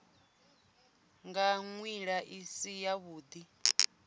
nga nḓila i si yavhuḓi